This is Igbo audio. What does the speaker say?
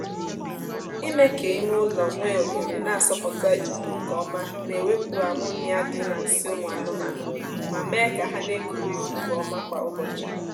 ime ka ime ụlọ nwee ohere na-asọpụta ikuku nkeọma na-ewepụ ammonia dị na nsị ụmụ anụmaanụ ma mee ka ha na-ekuru ikuku ọma kwa ụbọchị